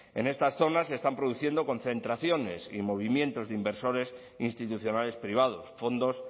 en estas zonas se están produciendo concentraciones y movimientos de inversores institucionales privados fondos